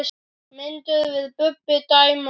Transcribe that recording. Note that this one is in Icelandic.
Mynduð þið Bubbi dæma mig?